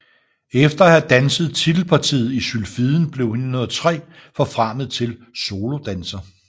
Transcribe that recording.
Efter at have danset titelpartiet i Sylfiden blev hun i 1903 forfremmet til solodanser